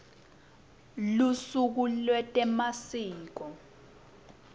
lusuku lwetemasiko